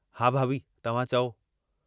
हा भाभी तव्हां चओ।